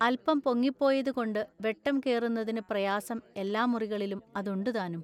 അല്പം പൊങ്ങിപ്പോയതുകൊണ്ടു വെട്ടം കേറുന്നതിനു പ്രയാസം എല്ലാ മുറികളിലും അതുണ്ടു താനും.